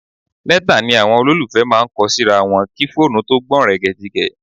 Lẹ́tà ni àwọn olólùfẹ́ máa ń kọ síra wọn kí fóònù tó gbọ̀nrẹ̀gẹ̀jigẹ̀